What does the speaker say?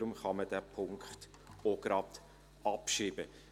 Daher kann man diesen Punkt auch gleich abschreiben.